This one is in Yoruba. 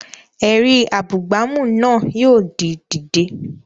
Ẹ̀rí abúgbàmù náà yóò di dídè